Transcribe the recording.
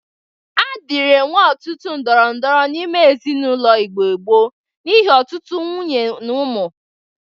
A dịrị enwe ọtụtụ ndorondoro n'ime ezinaụlọ Igbo gboo n'ihe ọtụtụ nwunye na ụmụ.